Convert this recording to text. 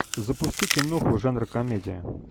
запусти киноху жанра комедия